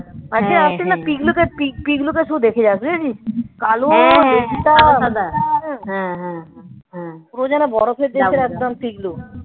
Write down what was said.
পিকলুকে পিক পিকলুকে একটু দেখে যাস দেখেছিস. কালো পুরো যেন বরফের দেশের একদম পিক্লু